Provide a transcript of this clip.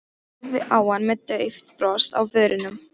Horfði á hana með dauft bros á vörunum.